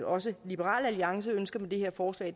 også liberal alliance ønsker med det her forslag